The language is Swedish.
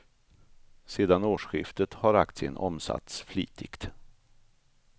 Sedan årsskiftet har aktien omsatts flitigt.